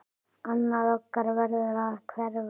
Annað okkar verður að hverfa.